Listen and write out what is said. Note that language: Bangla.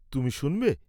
তুমি শুনবে?